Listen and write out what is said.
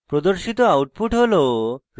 প্রদর্শিত output হল